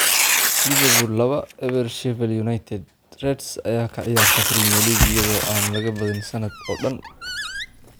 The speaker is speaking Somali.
Liverpool 2-0 Sheffield United: Reds ayaa ka ciyaarta Premier League iyada oo aan laga badin sanadka oo dhan